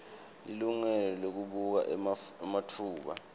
lilungelo lekubuka ematfuba